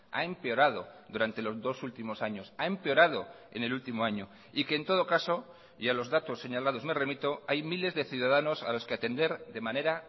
ha empeorado durante los dos últimos años ha empeorado en el último año y que en todo caso y a los datos señalados me remito hay miles de ciudadanos a los que atender de manera